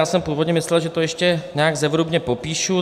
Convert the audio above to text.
Já jsem původně myslel, že to ještě nějak zevrubně popíšu.